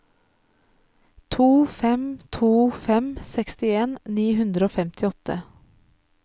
to fem to fem sekstien ni hundre og femtiåtte